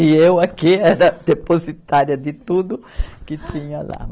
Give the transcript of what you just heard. E eu aqui era depositária de tudo que tinha lá.